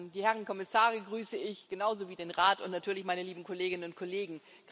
Die Herren Kommissare grüße ich genauso wie den Rat und natürlich meine lieben Kolleginnen und Kollegen!